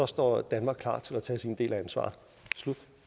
står danmark klar til at tage sin del af ansvaret